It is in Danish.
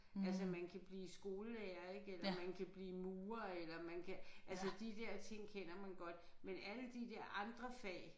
Altså man kan blive skolelærer ik eller man kan blive murer eller man kan altså de der ting kender man godt men alle de der andre fag